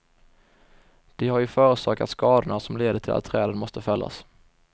De har ju förorsakat skadorna som leder till att träden måste fällas.